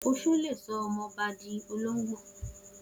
Oṣó le sọ ọmọbá ọkùnrin di olóngbò.